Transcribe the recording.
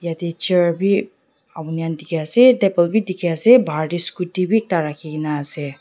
etu chair bi apuni dikhi ase atiya table bi dikha ase baher te scooty bi ekta rakhina ase.